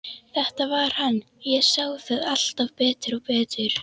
Þetta var hann, ég sá það alltaf betur og betur.